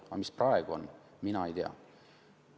Aga mis praegu on, seda mina ei tea.